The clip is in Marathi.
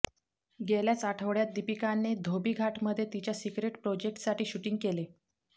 गेल्याच आठवड्यात दीपिकाने धोबीघाटमध्ये तिच्या सिक्रेट प्रोजक्टसाठी शूटींग केले